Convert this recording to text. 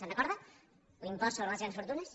se’n recorda l’impost sobre les grans fortunes